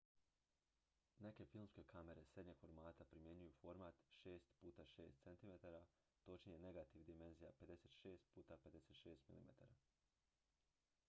neke filmske kamere srednjeg formata primjenjuju format 6 x 6 cm točnije negativ dimenzija 56 x 56 mm